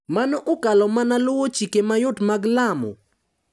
Mano okalo mana luwo chike mayot mag lamo.